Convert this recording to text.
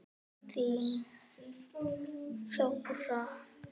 Þín Þóra.